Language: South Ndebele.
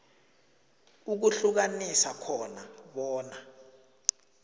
ukuhlukanisa khona bona